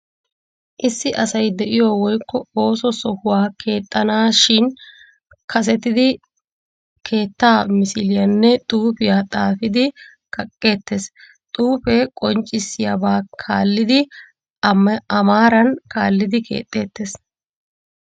Issi asay de'iyo woykko ooso sohuwa keexxanaashin kasetidi keettaa misiliyanne xuufiya xaafidi kaqqeettees. Xuufee qonccissiyibaa kaallidi A maaran kaallidi keexxeettees.